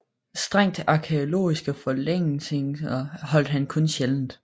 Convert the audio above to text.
Strengt arkæologiske forelæsninger holdt han kun sjældent